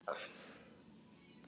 Hver á að laga þetta?